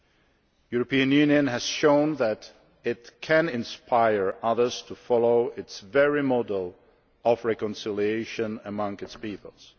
The European Union has shown that it can inspire others to follow its own model of reconciliation among its peoples.